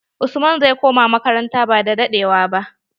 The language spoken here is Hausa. Usman zai koma makaranata ba da ewa ba.